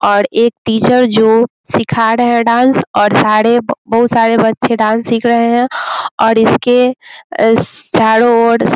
और एक टीचर जो सिखा रहे है डांस और सारे बहुत सारे बच्चे डांस सिख रहे हैं और इसके चारों ओर --